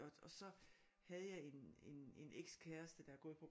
Og så havde jeg en en en ekskæreste der har gået på